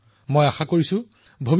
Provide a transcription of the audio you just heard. এয়া হৈছে drone drone প্ৰযুক্তিৰ বিষয়